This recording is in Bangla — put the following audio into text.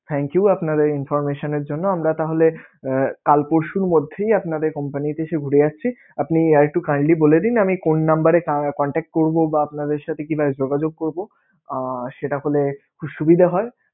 Thank you আপনাদের information এর জন্য আমরা তাহলে কাল পরশুর মধ্যেই আপনাদের company তে এসে ঘুরে যাচ্ছি আপনি আর একটু kindly বলে দিন আমি কোন number এ contact করবো বা আপনাদের সাথে কিভাবে যোগাযোগ করবো? আহ সেটা হলে খুবই সুবিধা হয়.